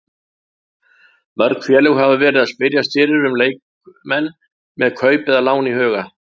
Mörg félög hafa verið að spyrjast fyrir um leikmenn með kaup eða lán í huga.